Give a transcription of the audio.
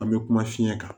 An bɛ kuma fiɲɛ kan